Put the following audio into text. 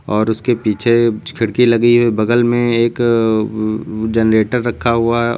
और उसके पीछे कुछ खिड़की लगी है बगल में एक जनरेटर रखा हुआ--